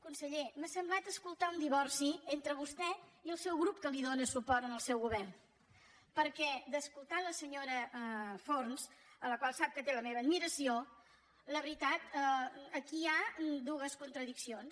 conseller m’ha semblat escoltar un divorci entre vostè i el seu grup que dóna suport al seu govern perquè d’escoltar la senyora forns la qual sap que té la meva admiració la veritat aquí hi ha dues contradiccions